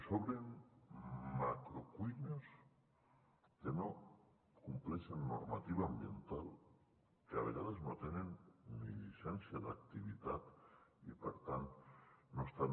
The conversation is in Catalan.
s’obren macrocuines que no compleixen la normativa ambiental que a vegades no tenen ni llicència d’activitat i per tant no estan